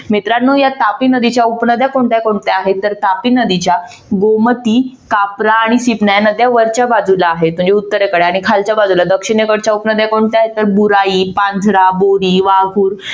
मित्रानो या तापी नदीच्या उपनद्या कोणत्या कोणत्या हे तर तापी नदीच्या गोमती ह्या नद्या वरच्या बाजूला आहेत म्हणजे उत्तरेकडे आणि खालच्या बाजूला दक्षिणेकडच्या उपनद्या कोणत्या आहेत तर बुराई, पांझरा, बोरी, वाघूर